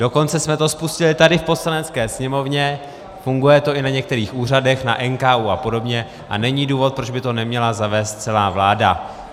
Dokonce jsme to spustili tady v Poslanecké sněmovně, funguje to i na některých úřadech, na NKÚ a podobně a není důvod, proč by to neměla zavést celá vláda.